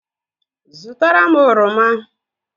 zụtara m oroma